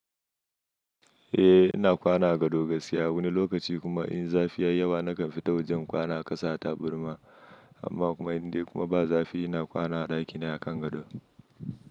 Eh ina kwana a gado gaskiya wani lokaci kuma in zafi ya yi yawa nakan fita waje in kwana a ƙasa a taburma amma kuma indai kuma ba zafi ina kwana a ɗakina a kan gado.